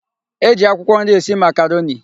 E ji akwụkwọ nri esi makaroni.